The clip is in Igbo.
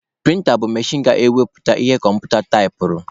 Prịnta bụ machin ga-ewepụta ihe kọmputa taipụrụ.